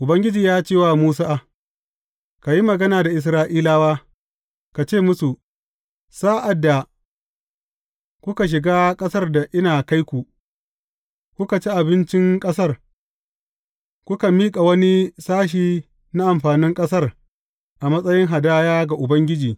Ubangiji ya ce wa Musa, Ka yi magana da Isra’ilawa, ka ce musu, Sa’ad da kuka shiga ƙasar da ina kai ku, kuka ci abincin ƙasar, ku miƙa wani sashe na amfanin ƙasar a matsayin hadaya ga Ubangiji.